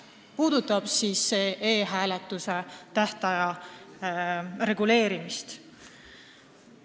See märkus puudutab e-hääletuse tähtaja reguleerimist.